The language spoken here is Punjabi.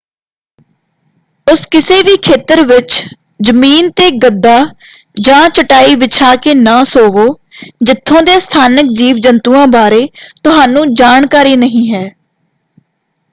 ਉਸ ਕਿਸੇ ਵੀ ਖੇਤਰ ਵਿੱਚ ਜ਼ਮੀਨ ‘ਤੇ ਗੱਦਾ ਜਾਂ ਚਟਾਈ ਵਿਛਾ ਕੇ ਨਾ ਸੋਵੋ ਜਿੱਥੋਂ ਦੇ ਸਥਾਨਕ ਜੀਵ ਜੰਤੂਆਂ ਬਾਰੇ ਤੁਹਾਨੂੰ ਜਾਣਕਾਰੀ ਨਹੀਂ ਹੈ।